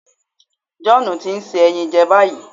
John ti n se ẹyin jẹ ni bayi